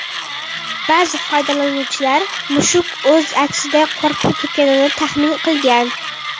Ba’zi foydalanuvchilar mushuk o‘z aksidan qo‘rqib ketganini taxmin qilgan.